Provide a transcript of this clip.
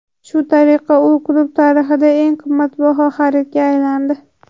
Shu tariqa u klub tarixidagi eng qimmat xaridga aylandi.